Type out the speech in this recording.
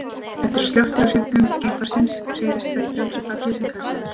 Eftir að slökkt er á hreyflum geimfarsins hreyfist það í frjálsu falli sem kallað er.